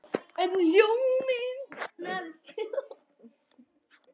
En ljóminn dofnaði fljótt.